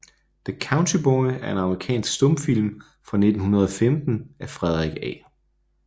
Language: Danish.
The Country Boy er en amerikansk stumfilm fra 1915 af Frederick A